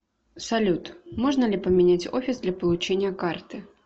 салют можно ли поменять офис для получения карты